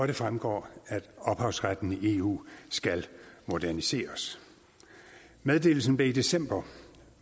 det fremgår at ophavsretten i eu skal moderniseres meddelelse blev i december